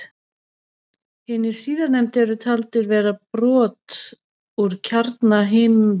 Hinir síðarnefndu er taldir vera brot úr kjarna himinhnatta en bergsteinarnir úr möttli þeirra.